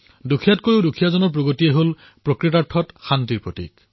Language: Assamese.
দৰিদ্ৰতকৈও দৰিদ্ৰতম ব্যক্তিৰ বিকাশেই শান্তিৰ প্ৰকৃত প্ৰতীক